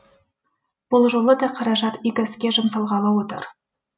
бұл жолы да қаражат игі іске жұмсалғалы отыр